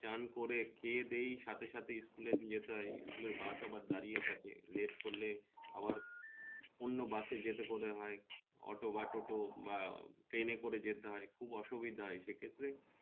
চান করে খেয়ে দেয়ে সাথে সাথে school নিয়ে যেতে হয় school এর bus আবার দাড়িয়ে থাকে late করলে আবার অন্য bus যেতে পদে হয় অটো বা টোটো বা ট্রেনে করে যেতে হয় খুব অসুবিধা হয় সে ক্ষেত্রে